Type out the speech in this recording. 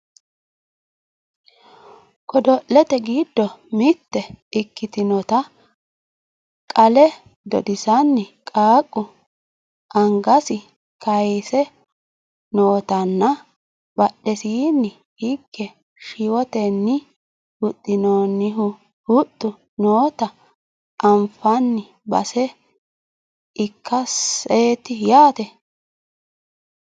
godo'lete giddo mitte ikkitinota qale dodisanni qaaqqu angasi kayiise nootanna badhesiinni hige shiwotenni huxxinoonnihu huxxu noota anafanni base ikkaseeti yaate